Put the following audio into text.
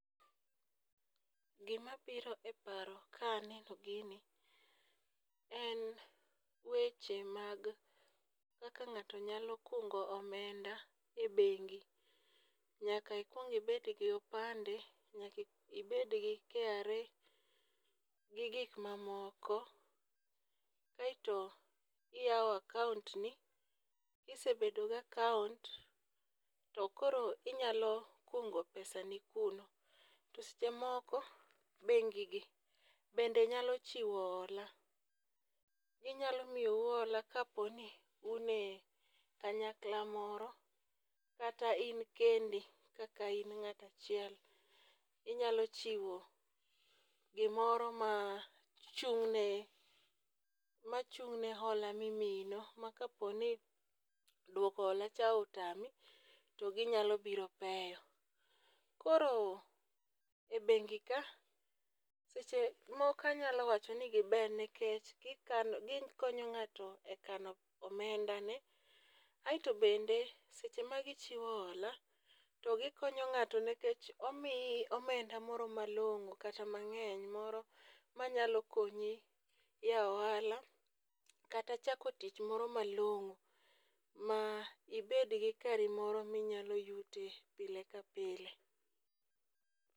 Gima biro e paro ka aneno gini, en weche mag kaka ng'ato nyalo kung'o omenda e beng'i, nyaka ikuong' ibed gi opande, nyaka ibed gi KRA gigik mamoko, kaeto iyawo akauntni, kisebedo gi akaunt to koro inyalo kung'o pesani kuno, to seche moko beng'igi bende nyalo chiwo hola, ginyalo miyou hola kaponi unie kanyakla moro kata in kendi ,kata in ng'ata chiel, inyalo chiwo gimoro ma chung'ne machung'ne hola mimiyino ma ka poni dwoko holacha otami to ginyalo biro peyo. Koro e bengi ka sechemoko anyalo wachoni gibeyo nikech gikonyo ng'ato e kano omendane, aito bende seche ma gichiwo hola to gikonyo ng'ato nikech omiyi omenda moro malong'o kata mang'eny moro manyalo konyi yawo ohala kata chako tich moro malong'o ma ibed gi kari moro ma inyalo yute pile ka pile